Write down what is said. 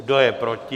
Kdo je proti?